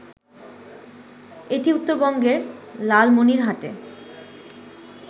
এটি উত্তরবঙ্গের লালমনিরহাটে